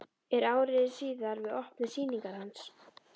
Er ári síðar við opnun sýningar hans.